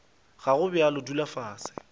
ga go bjalo dula fase